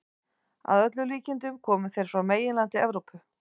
Að öllum líkindum komu þeir frá meginlandi Evrópu.